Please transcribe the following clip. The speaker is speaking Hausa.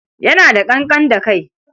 Yana da ƙanƙan da kai.